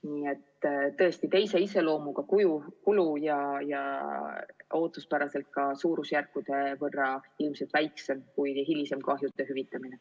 Nii et tõesti, see on teise iseloomuga kulu ja ootuspäraselt ka suurusjärkude võrra väiksem, kui läheks vaja hilisemaks kahju hüvitamiseks.